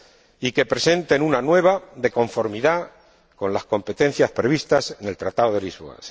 y que presenten una nueva de conformidad con las competencias previstas en el Tratado de Lisboa.